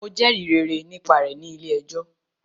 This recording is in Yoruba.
Mo jẹrìí rere nípa rẹ̀ nílé ẹjọ́.